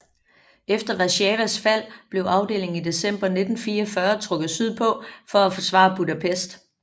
Efter Warszawas fald blev afdelingen i december 1944 trukket sydpå for at forsvare Budapest